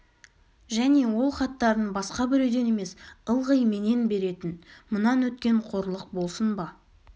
және ол хаттарын басқа біреуден емес ылғи менен беретін мұнан өткен қорлық болсын ба